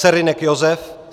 Serynek Josef